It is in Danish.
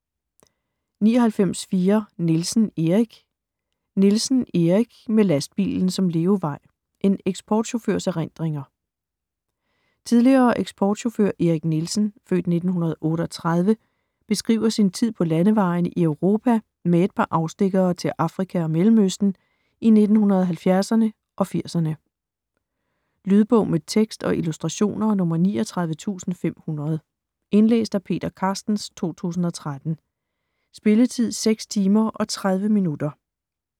99.4 Nielsen, Erik Nielsen, Erik: Med lastbilen som levevej: en eksportchaufførs erindringer Tidligere eksportchauffør Erik Nielsen (f. 1938) beskriver sin tid på landevejene i Europa, med et par afstikkere til Afrika og Mellemøsten, i 1970´erne og 80´erne. Lydbog med tekst og illustrationer 39500 Indlæst af Peter Carstens, 2013. Spilletid: 6 timer, 30 minutter.